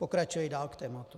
Pokračuji dál k tomu.